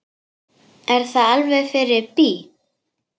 Er það alveg fyrir bí?